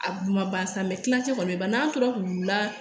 A bu ma ban sa mɛ tilancɛ kɔni ba n'a tora k'u la